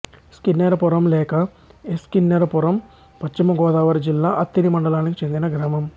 స్కిన్నెరపురం లేక ఎస్ కిన్నెరపురం పశ్చిమ గోదావరి జిల్లా అత్తిలి మండలానికి చెందిన గ్రామం